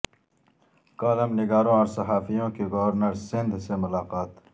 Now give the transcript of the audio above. column نگاروں اور صحافیوں کی گورنر سند ھ سے ملاقات